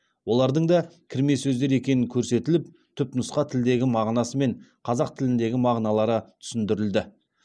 олардың да кірме сөздер екені көрсетіліп түпнұсқа тілдегі мағынасы мен қазақ тіліндегі мағыналары түсіндірілді